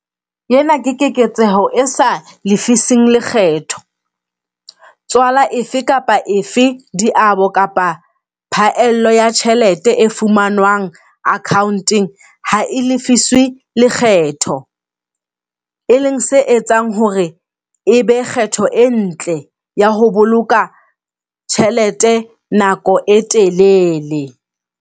Ena ke keketseho e sa lefising lekgetho, tswala efe kapa efe diabo kapa phaello ya tjhelete e fumanwang account-eng ha e lefiswe lekgetho, e leng se etsang hore e be kgetho e ntle ya ho boloka tjhelete nako e telele.